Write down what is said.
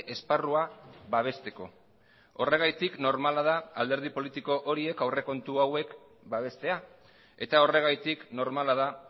esparrua babesteko horregatik normala da alderdi politiko horiek aurrekontu hauek babestea eta horregatik normala da